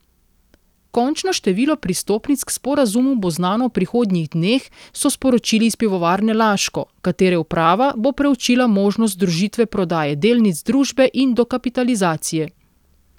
Končno število pristopnic k sporazumu bo znano v prihodnjih dneh, so sporočili iz Pivovarne Laško, katere uprava bo preučila možnost združitve prodaje delnic družbe in dokapitalizacije.